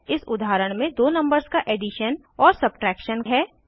इस उदाहरण में दो नंबर्स का एडिशन और सब्ट्रैक्शन है